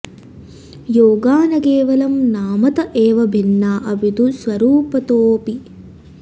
योगा न केवलं नामत एव भिन्ना अपितु स्वरूपतोऽपि